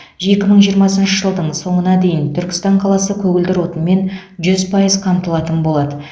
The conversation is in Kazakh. екі мың жиырмасыншы жылдың соңына дейін түркістан қаласы көгілдір отынмен жүз пайыз қамтылатын болады